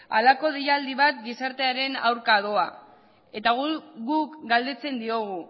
halako deialdi bat gizartearen aurka doa eta guk galdetzen diogu